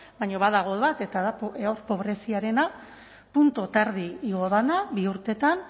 baina badago bat eta da pobreziarena puntu eta erdi igo dena bi urtetan